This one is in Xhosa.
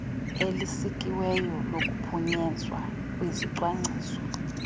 elisikiweyo lokuphunyezwa kwezicwangciso